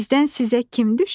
Bizdən sizə kim düşə?